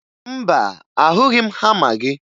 Mba, ahụghị m hama gị